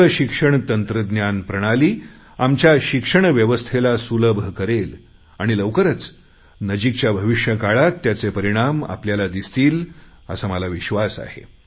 दूरशिक्षण तंत्रज्ञान प्रणाली आमच्या शिक्षण व्यवस्थेला सुलभ करेल आणि लवकरच नजिकच्या भविष्यकाळात त्याचे परिणाम आपल्याला दिसतील असा मला विश्वास आहे